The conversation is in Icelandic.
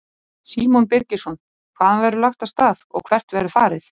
Símon Birgisson: Hvaðan verður lagt af stað og hvert verður farið?